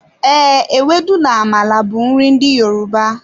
Ee, ewedu and amala bụ nri ndị Yoruba.